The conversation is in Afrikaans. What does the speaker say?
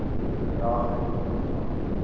bedrag rente ontvang